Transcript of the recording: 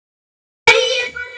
Varðar ekkert um þau lengur.